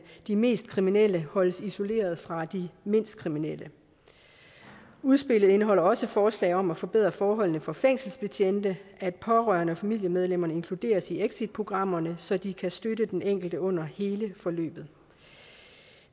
de mest kriminelle holdes isoleret fra de mindst kriminelle udspillet indeholder også forslag om at forbedre forholdene for fængselsbetjente og at pårørende og familiemedlemmer inkluderes i exitprogrammerne så de kan støtte den enkelte under hele forløbet